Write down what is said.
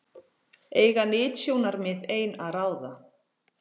Eiga nytjasjónarmið ein að ráða?